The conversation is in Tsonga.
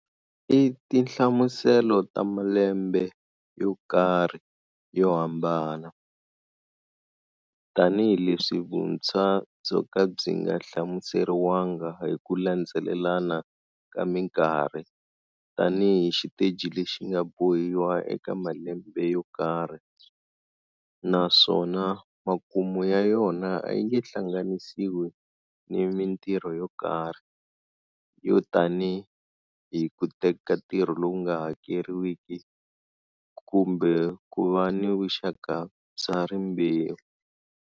I tinhlamuselo ta malembe yo karhi yo hambana, tanihileswi vuntshwa byo ka byi nga hlamuseriwangi hi ku landzelelana ka minkarhi tanihi xiteji lexi nga bohiwa eka malembe yo karhi, naswona makumu ya yona a yi nge hlanganisiwi ni mintirho yo karhi, yo tanihi ku teka ntirho lowu nga hakeriwiki, kumbe ku va ni vuxaka bya rimbewu.